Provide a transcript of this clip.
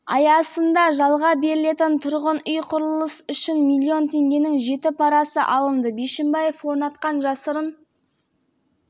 ереже бойынша бәйтерек холдингімен келісімшарт жасасқысы келетін әр құрылыс компаниясы пара беруге мәжбүр болды деді